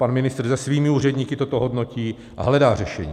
Pan ministr se svými úředníky toto hodnotí a hledá řešení.